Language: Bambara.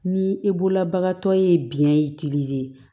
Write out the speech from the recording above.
Ni e bolola bagantɔ ye biɲɛ ye